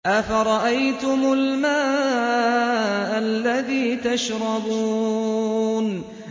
أَفَرَأَيْتُمُ الْمَاءَ الَّذِي تَشْرَبُونَ